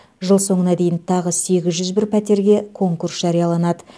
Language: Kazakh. жыл соңына дейін тағы сегіз жүз бір пәтерге конкурс жарияланады